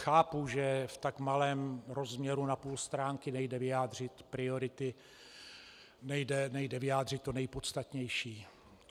Chápu, že v tak malém rozměru na půl stránky nejde vyjádřit priority, nejde vyjádřit to nejpodstatnější.